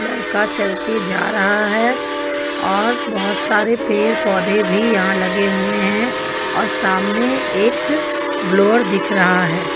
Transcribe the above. लड़का का चलके जा रहा है और बहुत सारे पेड़ पौधे भी यहां लगे हुए हैं और सामने एक ब्लोअर दिख रहा है.